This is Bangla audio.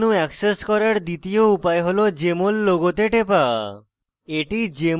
popup menu অ্যাক্সেস করার দ্বিতীয় উপায় হল jmol লোগোতে টেপা